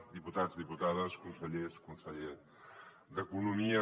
diputats diputades consellers conseller d’economia